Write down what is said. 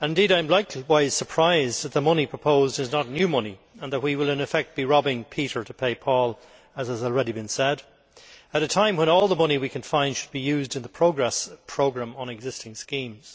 I am likewise surprised that the money proposed is not new money, and that we will in effect be robbing Peter to pay Paul, as has already been said, at a time when all the money we can find should be used in the Progress programme, on existing schemes.